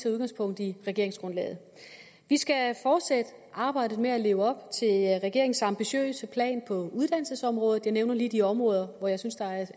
udgangspunkt i regeringsgrundlaget vi skal fortsætte arbejdet med at leve op til regeringens ambitiøse plan på uddannelsesområdet jeg nævner lige de områder hvor jeg synes der er